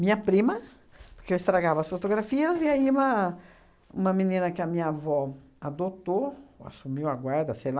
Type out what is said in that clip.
Minha prima, porque eu estragava as fotografias, e aí uma uma menina que a minha avó adotou, assumiu a guarda, sei lá,